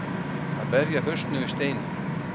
Að berja hausnum við steininn